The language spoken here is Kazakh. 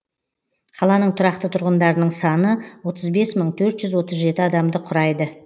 қаланың тұрақты тұрғындарының саны отыз бес мың төрт жүз отыз жеті адамды құрайды